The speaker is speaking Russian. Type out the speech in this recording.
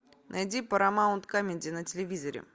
найди парамаунт камеди на телевизоре